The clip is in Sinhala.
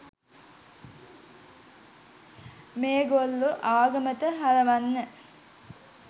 මේගොල්ල ආගමට හරවන්න